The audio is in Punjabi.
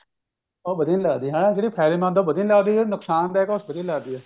ਉਹ ਵਧੀਆ ਨਹੀਂ ਲੱਗਦੀ ਹਨਾ ਜਿਹੜੀ ਫਾਇਦੇ ਮੰਦ ਐ ਉਹ ਵਧੀਆ ਨਹੀਂ ਲੱਗਦੀ ਜਿਹੜੀ ਨੁਕਸਾਨ ਦਾਇਕ ਐ ਉਹ ਵਧੀਆ ਲੱਗਦੀ ਐ